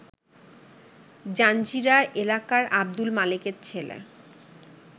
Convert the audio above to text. জাঞ্জিরা এলাকার আব্দুল মালেকের ছেলে